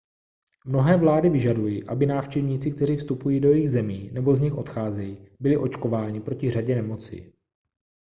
mnohé vlády vyžadují aby návštěvníci kteří vstupují do jejich zemí nebo z nich odcházejí byli očkováni proti řadě nemocí